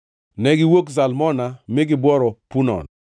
Negiwuok Zalmona mi gibworo Punon.